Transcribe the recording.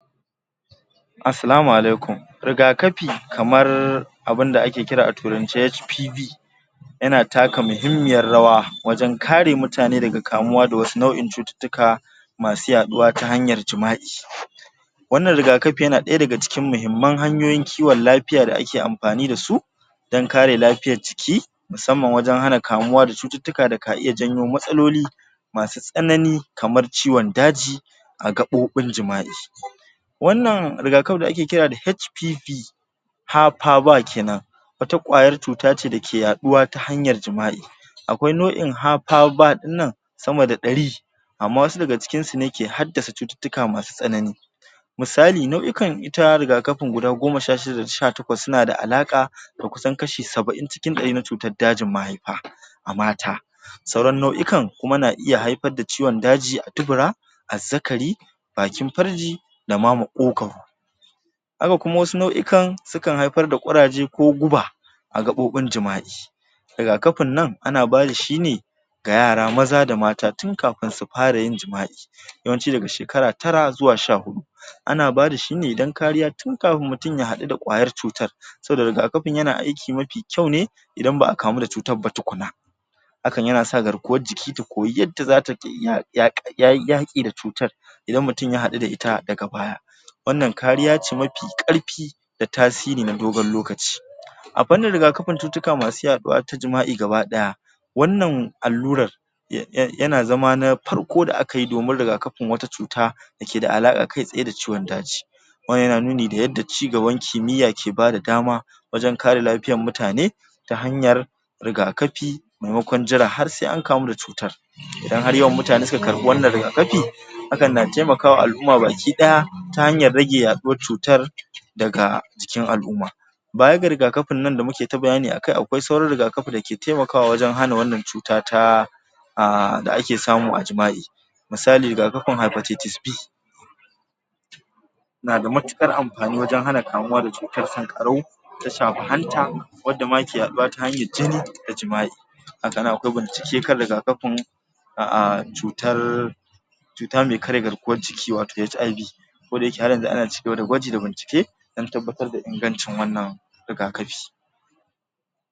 Assalamu Alaikum rigakafi kamar abunda ake kira a turance HPV yana taka muhimmiyar rawa wajan kare mutane daga kamuwa da wasu nau'in cututtuka masu yaɗuwa ta hanyar jima'i wannan rigakafi yana daya daga cikin muhimman hanyoyin kiwon lafiya da ake amfani dasu dan kare lafiyar jiki mussamman wajan hana kamuwa da cututtuma daka iya janyo matsaloli masu tsanani kamar jiwon daji a gaɓoɓin jima'i wannan rigakafi da ake kira da HPV ha, pa ,va kenan wata kwayar cutace dake yaɗuwa ta hanyar jima'i akwai nau'in ha, pa., va dinnan sama da ɗari amma wasu daga cikinsu ne ke haddasa cututtuka masu tsanani misali nau'ikan ita rigakafi guda goma sha shida daga sha takwas sunada alaƙa da kusan kashin saba'in cikin dari na cikin dajin ma'aifa a mata sauran nau'ikan kuma na iya haifar da ciwon daji a dubura azzakari bakin farji dama moƙokau haka kuma wasu nau'ikan sukan kan haifarda kuraje ko guba a gaɓoɓin jima'i rigakafin nan ana bada shi ne ga yara maza da mata tun kafain sufara yin jima'i yawanci daga shekara tara zuwa sha hudu ana bada shine dan kariya tun kafin mutum ya hadu da ƙwayar cutar saboda rigakafin yana aiki mafi kyau ne dan ba'a kamu da cutar ba tukunna hakan yanasa garkuwan jiki ta koyi yadda zata ya yak yaƙi da cutar idan mutum ya hadu da ita daga baya wannan ƙariya ce mafi karfi da tasiri na dogon lokaci a fannin rigakafin cututtuka masu yaduwa ta jima'i gaba daya wannan allurar ya ya yana zama na farko da akayi domin rigakafin wata cuta dakeda alaka kaitsaye da ciwon daji wannan yana nuni da yadda chigaban kimiyya ke bada dama wajan kare lafiyar mutane ta hanyar rigakafi memekon jira har sai an kamu da cutar idan har mutane suka karbi wannan rigakafi hakan na taimakawa al'umma gabaki daya ta hanyar rage yaɗuwar cutar daga cikin al'umma bayan ga riga kafinnan damuketa bayani akai akwai sauran rigakafi dake taimakawa wajan hana wannan cuta ta a da ake samu a jima'i misali ga hypertieties B nada mutukar amfani wajan hana kamuwa da cutar sankarau ta shafi anta wanada ma yake yaduwa ta hanyar jini da jima'i akannan akwai bincike akan rigakafi a a cutar cuta mai karye garkuwar jiki wato HIV koda yake haryanzu ana kan gwaji da bincike dan tabbatar da ingancin wannan rigakafi